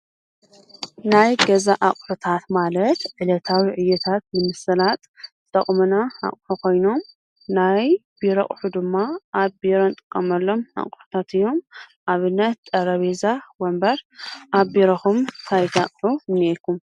ናይ ገዛ ኣቁሕታት ማለት ዕለታዊ ዕዮታት ንምስላጥ ዝጠቅሙና ኣቁሑ ኮይኖም ናይ ቢሮ ኣቁሑ ድማ ኣብ ቢሮ እንጥቀመሎም ኣቁሕታት እዮም፡፡ ኣብነት ጠረጲዛ ፣ወንበር ኣብ ቢሮኹም እንታይ እንታይ ኣቁሑ እኒአኩም?